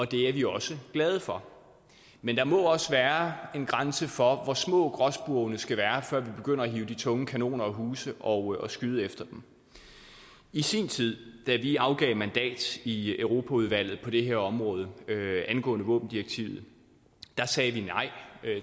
det er vi også glade for men der må også være en grænse for hvor små gråspurvene skal være før vi begynder at hive de tunge kanoner af huse og skyde efter dem i sin tid da vi afgav mandat i europaudvalget på det her område angående våbendirektivet sagde vi nej